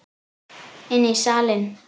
Inn í salinn.